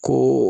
Ko